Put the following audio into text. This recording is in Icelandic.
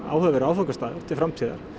áhugaverður áfangastaður til framtíðar